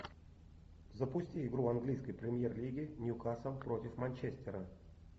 запусти игру английской премьер лиги ньюкасл против манчестера